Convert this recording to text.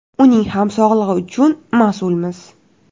Uning ham sog‘lig‘i uchun mas’ulmiz.